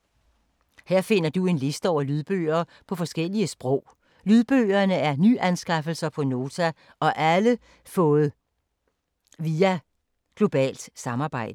Her finder du en liste over lydbøger på forskellige sprog. Lydbøgerne er nyanskaffelser på Nota og alle fået via globalt samarbejde.